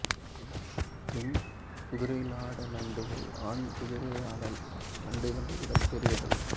பெண் குதிரைலாட நண்டுகள் ஆண் குதிரைலாட நண்டுகளை விடப் பெரியவை